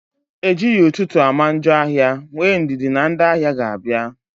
Ejighị ụtụtụ ama njọ ahịa, nwee ndidi na ndị ahịa ga-abịa